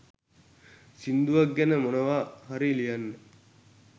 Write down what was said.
සිංදුවක් ගැන මොනව හරි ලියන්න